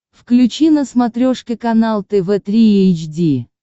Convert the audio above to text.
включи на смотрешке канал тв три эйч ди